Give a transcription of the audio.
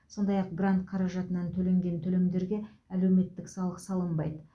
сондай ақ грант қаражатынан төленген төлемдерге әлеуметтік салық салынбайды